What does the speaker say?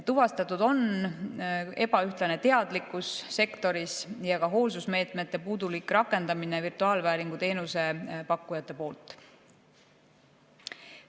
Tuvastatud on ebaühtlane teadlikkus sektoris ja ka hoolsusmeetmete puudulik rakendamine virtuaalvääringu teenuse pakkujate poolt.